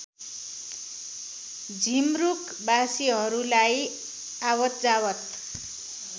झिमरुक बासीहरूलाई आवतजावत